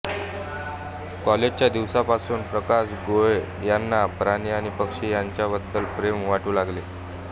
कॉलेजच्या दिवसांपासूनच प्रकाश गोळे यांना प्राणी आणि पक्षी यांच्याबद्दल प्रेम वाटू लागले